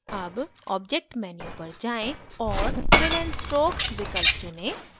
अब object menu पर जाएँ और fill and stroke विकल्प चुनें